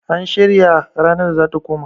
an shirya ranar da za ta koma?